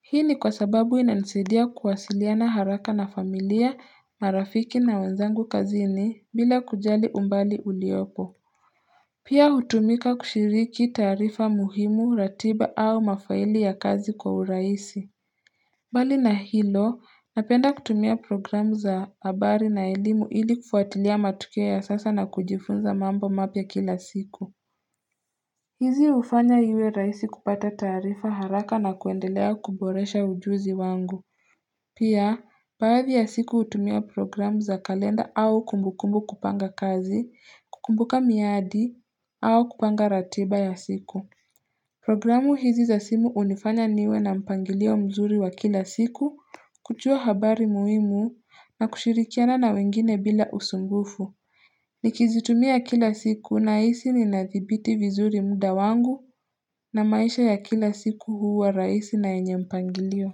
Hii ni kwa sababu ina nisaidia kuwasiliana haraka na familia na rafiki na wenzangu kazini bila kujali umbali uliopo Pia hutumika kushiriki taarifa muhimu ratiba au mafaili ya kazi kwa uraisi mbali na hilo, napenda kutumia programu za habari na elimu ili kufuatilia matokeo ya sasa na kujifunza mambo mapya kila siku. Hizi hufanya iwe rahisi kupata taarifa haraka na kuendelea kuboresha ujuzi wangu. Pia, baadhi ya siku hutumia programu za kalenda au kumbukumbu kupanga kazi, kukumbuka miadi au kupanga ratiba ya siku. Programu hizi za simu hunifanya niwe na mpangilio mzuri wa kila siku kujua habari muhimu na kushirikiana na wengine bila usumbufu. Nikizitumia kila siku nahisi nina nidhibiti vizuri muda wangu na maisha ya kila siku huwa rahisi na yenye mpangilio.